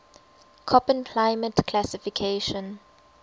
koppen climate classification